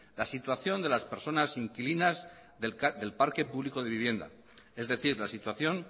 la situación de las personas inquilinas del parque público de vivienda es decir la situación